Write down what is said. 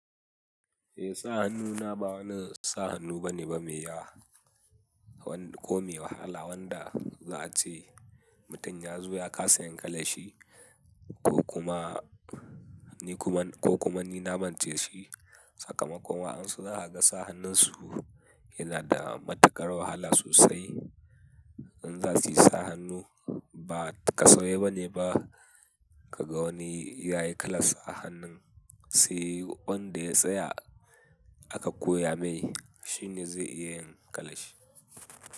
Eh, sa hannu na ba wani sa hannu bane ba me ya ko me wahala wanda za a ce mutum ya zo ya ka sa yinkalan shi ko kuma ni kuma ko kuma ni na mance shi. Sakamakon wa ansu za a ga sa hannun su yana da matuƙar wahala sosai. In za su yi sa hannu ba kasafai bane ba ka ga wani ya yi kalan sa hannun. Sai wanda ya tsaya a ka koya mai shine zai iya yin kalan shi.